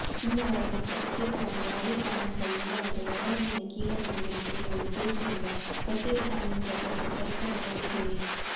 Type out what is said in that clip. ಕಿನ್ನರರ ಬಗ್ಗೆ ಪ್ರತ್ಯೇಕವಾದ ಯಾವುದೇ ಕಾನೂನುಗಳು ಇಲ್ಲವಾದರೂ ಅವರಲ್ಲಿನ ಕೀಳರಿಮೆಯನ್ನು ತೊಡೆಯುವ ಉದ್ದೇಶದಿಂದ ಪ್ರತ್ಯೇಕ ಕಾನೂನು ರಚಿಸುವ ಪ್ರಯತ್ನಗಳು ನಡೆದಿವೆ